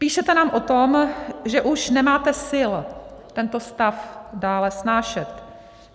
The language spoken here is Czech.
Píšete nám o tom, že už nemáte sil tento stav dále snášet.